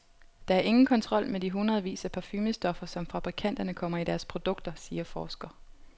Der er ingen kontrol med de hundredvis af parfumestoffer, som fabrikanterne kommer i deres produkter, siger forsker.